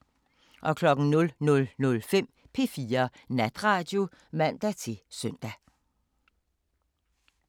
00:05: P4 Natradio (man-søn)